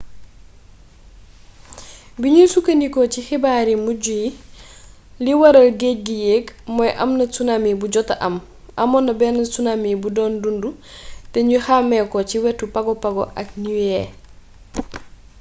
buñu sukkandikoo ci xibaar yu mujj yi li waral géej gi yéeg mooy amna tsunami bu jota am amoon na benn tsunami bu doon dundu te ñu xàmmee ko ci wetu pago pago ak niue